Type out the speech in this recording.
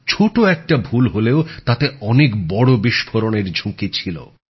ছোট একটা ভুল হলেও তাতে অনেক বড় বিস্ফোরণের ঝুঁকি ছিল